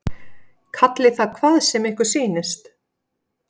Kallið það hvað sem ykkur sýnist.